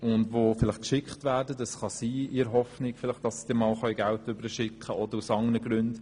Es kann sein, dass sie auf diese Reise geschickt werden, in der Hoffnung, dass sie vielleicht Geld zurückschicken können.